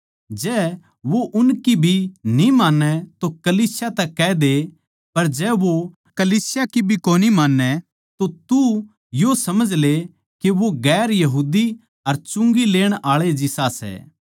जै वो उनकी भी न्ही मान्नै तो कलीसिया तै कह दे पर जै वो कलीसिया की भी कोनी मान्नै तो तू यो समझ ले के वो दुसरी जात अर चुंगी लेण आळे जिसा सै